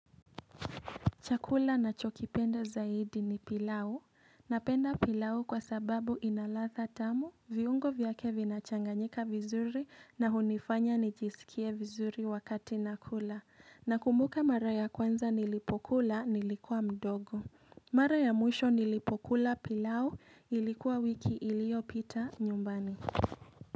Chakula nachokipenda zaidi ni pilau. Napenda pilau kwa sababu inaladha tamu, viungo vyake vinachanganyika vizuri na hunifanya nijisikie vizuri wakati nakula. Na kumbuka mara ya kwanza nilipokula nilikuwa mdogo. Mara ya mwisho nilipokula pilau ilikuwa wiki iliyo pita nyumbani.